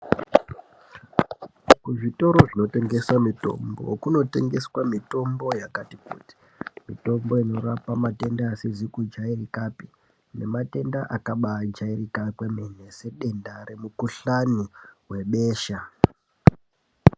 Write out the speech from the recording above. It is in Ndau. Kuzvitoro zvinotengese mitombo kunotengeswa mitombo yakati kuti, mitombo inorapa matenda asizi kujairikapi nematenda akabaajairika kwemene sedenda remukuhlani webesha.